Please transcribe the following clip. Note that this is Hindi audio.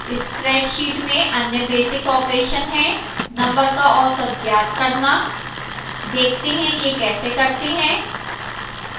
spreadsheet में अन्य basic operation है numbers का औसत ज्ञात करना देखते हैं कि यह कैसे करते हैं